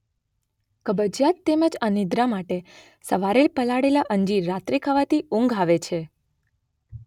કબજિયાત તેમ જ અનિદ્રા માટે સવારે પલાળેલાં અંજીર રાત્રે ખાવાથી ઊંઘ આવે છે.